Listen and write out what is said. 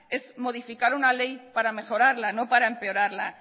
es modificar una ley para mejorarla no para empeorarla